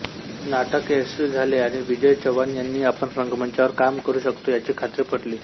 नाटक यशस्वी झाले आणि विजय चव्हाण यांना आपण रंगमंचावर काम करू शकतो याची खात्री पटली